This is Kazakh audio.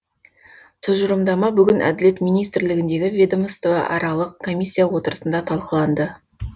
тұжырымдама бүгін әділет министрлігіндегі ведомстваралық комисиия отырысында талқыланды